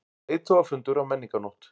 Leiðtogafundur á Menningarnótt